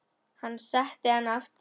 Hann setti hana aftur fyrir bak.